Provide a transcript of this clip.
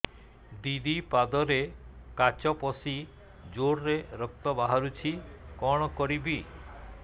ଦିଦି ପାଦରେ କାଚ ପଶି ଜୋରରେ ରକ୍ତ ବାହାରୁଛି କଣ କରିଵି